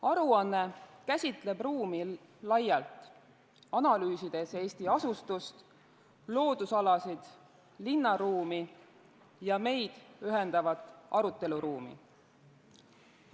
Aruanne käsitleb ruumi laialt, analüüsides Eesti asustust, loodusalasid, linnaruumi ja meid ühendavat aruteluruumi.